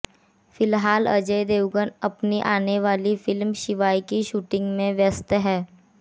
फिलहाल अजय देवगन अपनी आनेवाली फिल्म शिवाय की शूटिंग में व्यस्त हैं